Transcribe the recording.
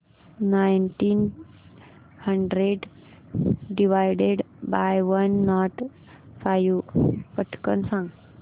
nineteen hundred divided by one nought five पटकन सांग